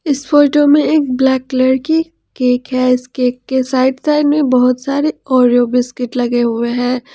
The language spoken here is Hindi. इस फोटो में एक ब्लैक कलर की केक है इस केक के साइड साइड में बहोत सारे ओरियो बिस्किट लगे हुए हैं।